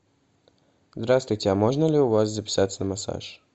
здравствуйте а можно ли у вас записаться на массаж